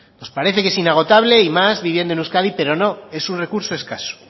nos parece que es inagotable y más viviendo en euskadi pero no es una recurso escaso